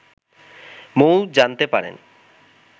মৌ জানতে পারেন